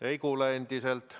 Ei kuule endiselt.